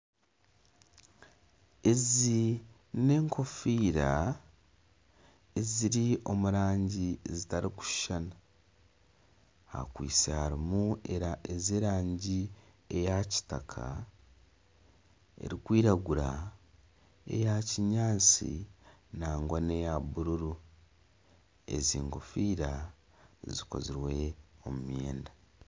Ezi n'enkofiira eziri omu rangi zitarikushushana, harimu ez'erangi eya kitaka, erikwiragura eya kinyaatsi nangwa neya bururu, ezi enkofiira zikozirwe omu myende